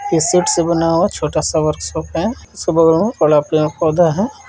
ये शीट से बना हुआ छोटा सा वर्कशॉप है उसके बगल में बड़ा पेड़-पौधा है।